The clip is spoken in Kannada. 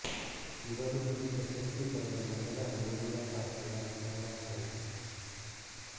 ಇವರು ಈ ಪ್ರಶಸ್ತಿ ಪಡೆದ ಮೊದಲ ಒಡಿಯಾ ಭಾಷೆಯ ಮಹಿಳಾ ಸಾಹಿತಿ